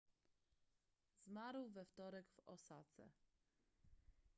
zmarł we wtorek w osace